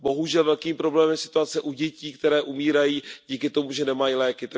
Bohužel velkým problémem je situace u dětí, které umírají díky tomu, že nemají léky.